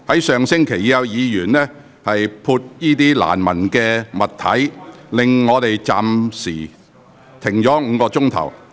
上星期已有議員在會議廳潑灑難聞的物體，令會議被迫暫停超過5小時。